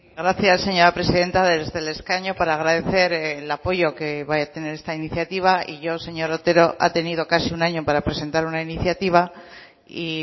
gracias señora presidenta desde el escaño para agradecer el apoyo que va a tener esta iniciativa y yo señor otero ha tenido casi un año para presentar una iniciativa y